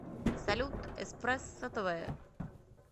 салют эспрессо тэ вэ